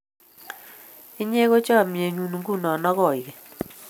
inye ko chamiet nyun nguno ak koing'eny